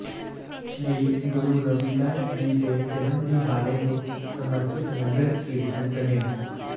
ਸ੍ਰੀ ਗੁਰੂ ਰਵਿਦਾਸ ਜੀ ਦੇ ਜਨਮ ਦਿਹਾੜੇ ਨੂੰ ਸਮਰਪਿਤ ਨਗਰ ਕੀਰਤਨ ਕੱਿਢਆ